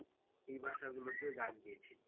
এই ভাষাগুলোতেও গান গেয়েছেন।